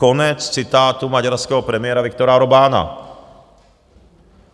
Konec citátu maďarského premiéra Viktora Orbána.